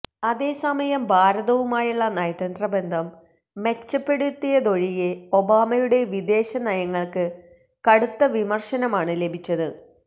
അതേസമയം ഭാരതവുമായുള്ള നയതന്ത്ര ബന്ധം മെച്ചപ്പെടുത്തിയതൊഴികെ ഒബാമയുടെ വിദേശ നയങ്ങള്ക്ക് കടുത്ത വിമര്ശനമാണ് ലഭിച്ചത്